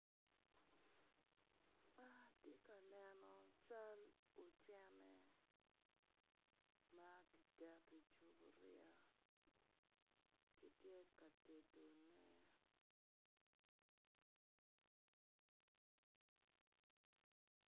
Atye ka neno cal ocene ma kiketo i cuburia kitye ka tedone.